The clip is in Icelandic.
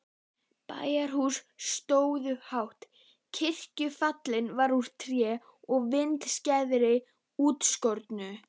Bæjarhúsin stóðu hátt, kirkjugaflinn var úr tré og vindskeiðarnar útskornar.